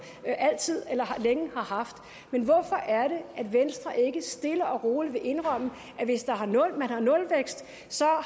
længe har haft men hvorfor er det at venstre ikke stille og roligt vil indrømme at hvis man har nulvækst